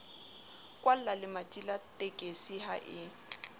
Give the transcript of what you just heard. kwallalemati la tekisi ha e